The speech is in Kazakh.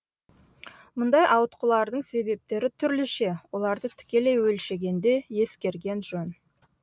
мұндай ауытқулардың себептері түрліше оларды тікелей өлшегенде ескерген жөн